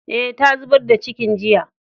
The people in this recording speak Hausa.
Eh, ta zubar da cikin jiya.